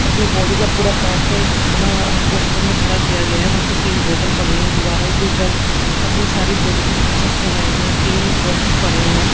अपनी बॉडी का पूरा पार्ट का एक पुतला पोस्टर में खड़ा किया गया है वहां पे तीन बोतल पड़ी हैं दीवारों के ऊपर अपनी सारी बॉडी की पिक्चर्स लगाई गई हैं तीन बॉक्स पड़े हुए हैं।